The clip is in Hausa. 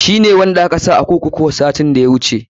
Shi ne wanda aka sa a kurkuru satin da ya wuce.